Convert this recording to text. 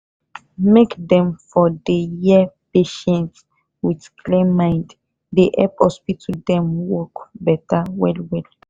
make them for dey hear patient with clear mind dey help hospital dem wok beta well well